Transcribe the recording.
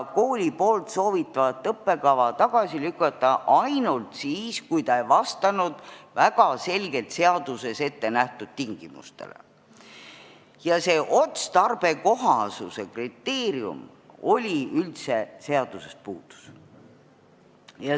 Kooli soovitavat õppekava sai tagasi lükata ainult siis, kui ta ei vastanud väga selgelt seaduses ette nähtud tingimustele, aga otstarbekohasuse kriteerium oli üldse seadusest puudu.